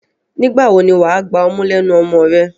Nígbà wo ni wà á gba ọmú lẹ́nu ọmọ rẹ?